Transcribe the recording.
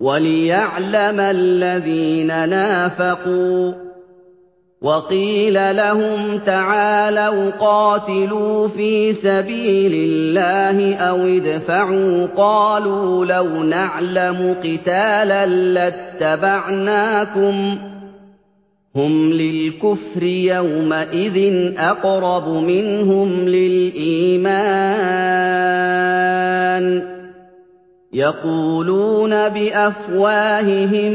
وَلِيَعْلَمَ الَّذِينَ نَافَقُوا ۚ وَقِيلَ لَهُمْ تَعَالَوْا قَاتِلُوا فِي سَبِيلِ اللَّهِ أَوِ ادْفَعُوا ۖ قَالُوا لَوْ نَعْلَمُ قِتَالًا لَّاتَّبَعْنَاكُمْ ۗ هُمْ لِلْكُفْرِ يَوْمَئِذٍ أَقْرَبُ مِنْهُمْ لِلْإِيمَانِ ۚ يَقُولُونَ بِأَفْوَاهِهِم